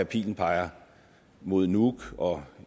pilen peger mod nuuk og